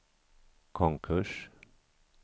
konkurs